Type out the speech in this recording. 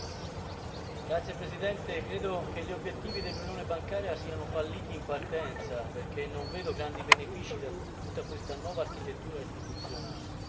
Signor Presidente, credo che gli obiettivi dell'Unione bancaria siano falliti in partenza, perché non vedo grandi benefici da tutta questa nuova architettura istituzionale.